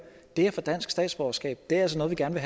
det at få dansk statsborgerskab er altså noget vi gerne